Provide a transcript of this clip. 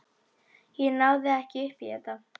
Ég náði ekki upp í þetta.